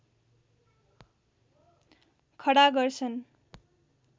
खडा गर्छन्